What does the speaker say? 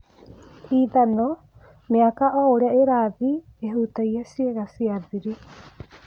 Ithano- mĩaka oũrĩa ĩrathiĩ nĩĩhutagia ciĩga cia thiri.